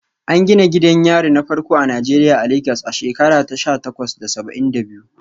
An gina gidan yari na farko a Najeriya a Legas a shekara ta sha takwas da saba'in da biyu.